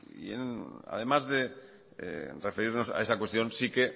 además de referirnos a esa cuestión sí que